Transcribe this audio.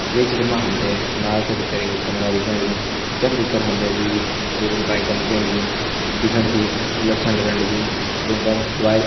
ये चित्र मा हम तें इमारत का भितर एक बड़ु कमरा दिखेण लग्युं ज़ख भितर हम तें द्वि बड़ी बड़ी बाइक दिखेण लगीं जु दिखेण सी बुलट छन लगण लगीं और उं पर --